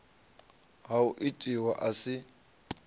ha o itiwa a si